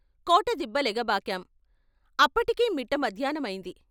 లెగబాకాం అప్పటికి మిట్ట మధ్యాహ్నమయింది.